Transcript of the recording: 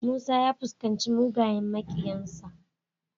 Musa fuskaci mugun makiyinsa.